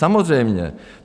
Samozřejmě.